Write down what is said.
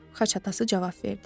Xaç atası cavab verdi.